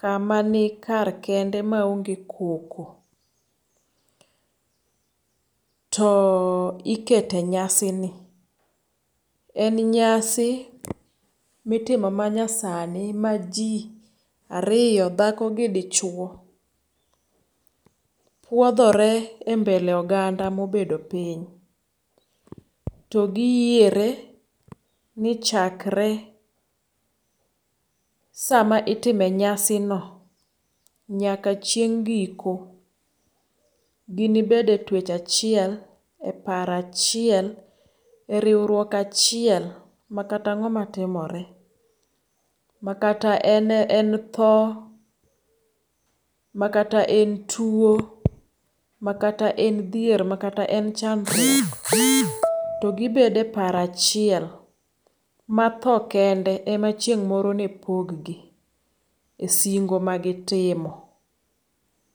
kama ni kar kende maonge koko to ikete nyasini. En nyasi mitimo manyasani ma ji ariyo dhako gi dichuo puodhore embele oganda mobedo piny to gi yiere ni chakre sama itime nyasino nyaka chieng' giko gini bede twech achiel, eparo achiel, eriwruok achiel, makata ang'oma timore, makata en thoo, makata en tuo, makata en dhier, makata en chandruok, to gi bedo eparoo achiel matho kende emachieng' moro nepoggi esingo magitimo.